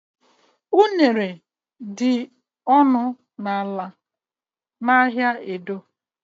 Unene dị ọnụ ala n'ahịa Edo.